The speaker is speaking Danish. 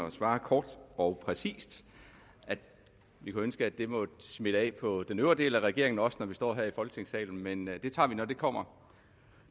at svare kort og præcist vi kunne ønske at det måtte smitte af på den øvrige del af regeringen også når vi står her i folketingssalen men det tager vi når det kommer